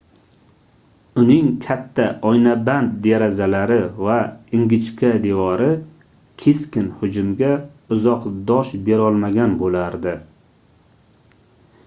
uning katta oynaband derazalari va ingichka devori keskin hujumga uzoq dosh berolmagan boʻlardi